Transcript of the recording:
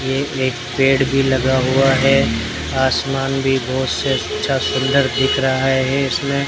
ये एक पेड़ भी लगा हुआ है आसमान भी बहुत अच्छा सुंदर दिख रहा है इसमें।